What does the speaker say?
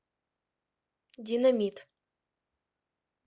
динамит